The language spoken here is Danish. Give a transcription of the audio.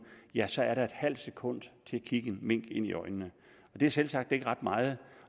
ja så er der et halvt sekund til at kigge en mink ind i øjnene det er selvsagt ikke ret meget